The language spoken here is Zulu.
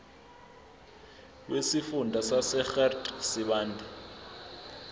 wesifunda sasegert sibande